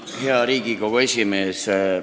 Hea Riigikogu esimees!